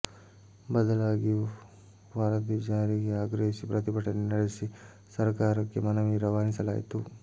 ಬದಲಾಗಿ ವರದಿ ಜಾರಿಗೆ ಆಗ್ರಹಿಸಿ ಪ್ರತಿಭಟನೆ ನಡೆಸಿ ಸರಕಾರಕ್ಕೆ ಮನವಿ ರವಾನಿಸಲಾಯಿತು